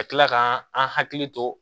Ka tila ka an hakili to